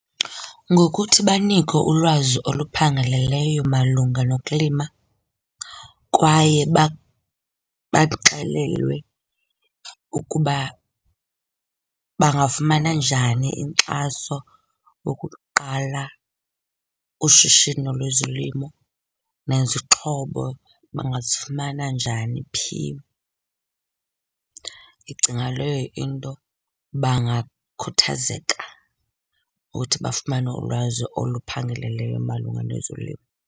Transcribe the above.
Ngokuthi banikwe ulwazi oluphangaleleyo malunga nokulima kwaye baxelelwe ukuba bangafumana njani inkxaso wokuqala ushishino lwezolimo nezixhobo bangazifumana njani, phi. Ndicinga leyo into bangakhuthazeka ukuthi bafumane ulwazi oluphangeleleyo malunga nezolimo.